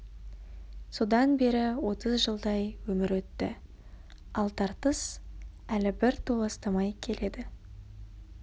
содан бері отыз жылдай өмір өтті ал тартыс әлі бір толастамай келеді